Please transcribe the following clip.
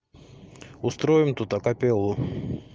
устроим тут акапеллу